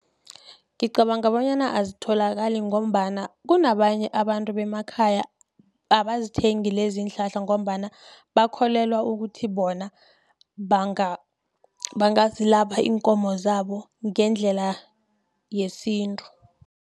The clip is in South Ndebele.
Ngicabanga bonyana azitholakali ngombana, kunabanye abantu bemakhaya abazithenge lezi iinhlahla, ngombana bakholelwa ukuthi bona, bangazilapha iinkomo zabo ngendlela yesintu.